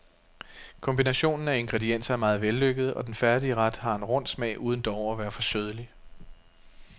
Kombinationen af ingredienser er meget vellykket, og den færdige ret har en rund smag uden dog at være for sødlig.